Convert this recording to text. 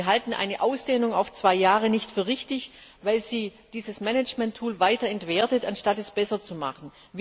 Wir halten eine Ausdehnung auf zwei Jahre nicht für richtig, weil sie dieses Management Tool weiter entwertet, anstatt es besser zu machen.